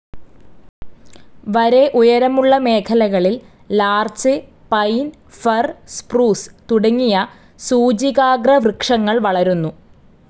വരെ ഉയരമുള്ള മേഖലകളിൽ ലാർച്ച്‌, പൈൻ, ഫർ, സ്‌പ്രൂസ്‌ തുടങ്ങിയ സൂചികാഗ്രവൃക്ഷങ്ങൾ വളരുന്നു.